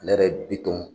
Ne yɛrɛ bi tɔn